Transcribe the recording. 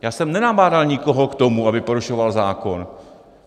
Já jsem nenabádal nikoho k tomu, aby porušoval zákon.